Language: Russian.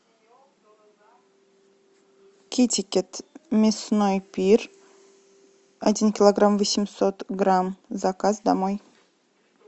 китикет мясной пир один килограмм восемьсот грамм заказ домой